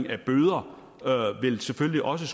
af bøder selvfølgelig også